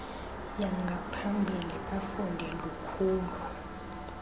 yangaphambili bafunde lukhulu